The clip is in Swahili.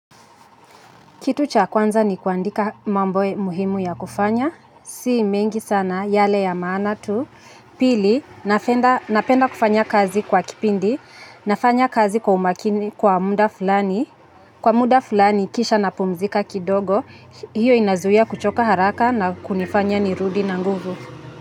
Kitu cha kwanza ni kuandika mambo muhimu ya kufanya. Si mengi sana yale ya maana tu. Pili, napenda kufanya kazi kwa kipindi. Nafanya kazi kwa umakini kwa muda fulani. Kwa muda fulani kisha napumzika kidogo. Hiyo inazuia kuchoka haraka na kunifanya nirudi na nguvu.